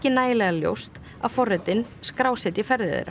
nægilega ljóst að forritin skrásetji ferðir þeirra